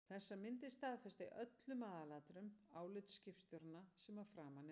Þessar myndir staðfesta í öllum aðalatriðum álit skipstjóranna sem að framan er nefnt.